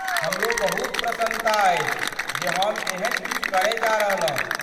हमरो बहुत प्रसन्नता अछि जे हम एहन किछु करय जा रहलहुँ।